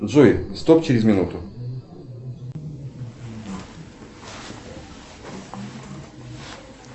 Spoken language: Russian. джой стоп через минуту